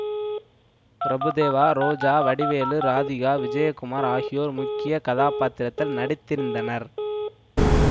பிரபுதேவா ரோஜா வடிவேலு ராதிகா விஜயகுமார் ஆகியோர் முக்கிய கதாப்பாத்திரத்தில் நடித்திருந்தனர்